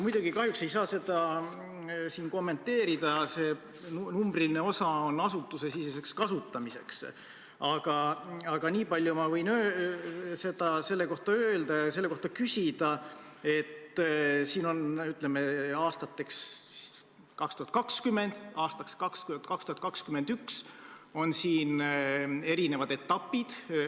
Ma kahjuks ei saa seda siin kommenteerida, see numbriline osa on asutusesiseseks kasutamiseks, aga nii palju võin selle kohta öelda ja selle kohta küsida, et siin on aastateks 2020 ja 2021 ette nähtud erinevad etapid.